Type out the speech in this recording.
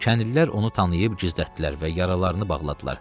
Kəndlilər onu tanıyıb gizlətdilər və yaralarını bağladılar.